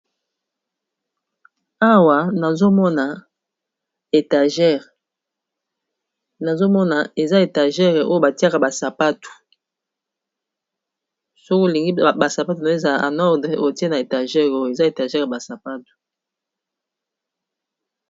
awa nazomona eza etagere oyo batiaka basapatu soko olingi basapato no ezala a nordre otie na étagere oyo eza étagere basapatu